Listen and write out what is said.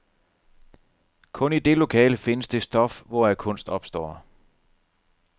Kun i det lokale findes det stof, hvoraf kunst opstår.